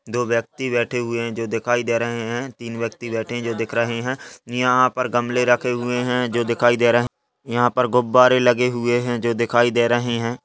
दो व्यक्ति बैठे हुए हैं जो दिखाई दे रहे हैं। तीन व्यक्ति बैठे हैं जो दिख रहे हैं। यहाँ पर गमले रखे हुए हैं जो दिखाई दे रहे हैं। यहाँ पर गुब्बारे लगे हुए हैं जो दिखाई दे रहे हैं।